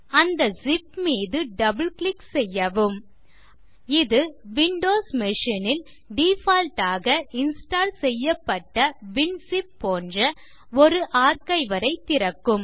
அந்த ஸிப் மீது double click செய்யவும் இது விண்டோஸ் மச்சின் ல் டிஃபால்ட் ஆக இன்ஸ்டால் செய்யப்பட்ட வின்சிப் போன்ற ஒரு ஆர்ச்சிவர் ஐ திறக்கும்